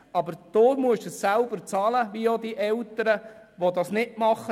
Aber Sie müssen es selber bezahlen, wie auch die Eltern, die dies nicht machen.